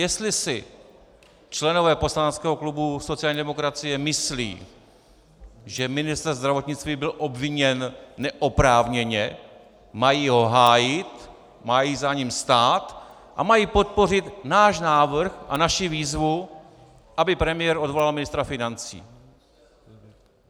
Jestli si členové poslaneckého klubu sociální demokracie myslí, že ministr zdravotnictví byl obviněn neoprávněně, mají ho hájit, mají za ním stát a mají podpořit náš návrh a naši výzvu, aby premiér odvolal ministra financí.